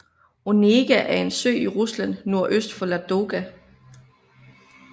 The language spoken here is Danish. Onega er en sø i Rusland nordøst for Ladoga